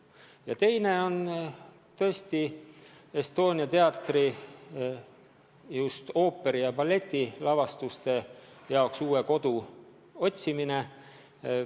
Ja teine on tõesti vajadus Estonia teatrile just ooperi- ja balletilavastuste jaoks uus kodu otsida.